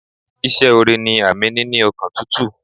Ìse ore ni àmì níní ọkàn tútù